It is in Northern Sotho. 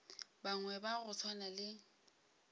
bangwe ba go swana le